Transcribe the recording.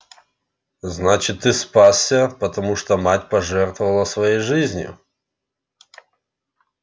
значит ты спасся потому что мать пожертвовала своей жизнью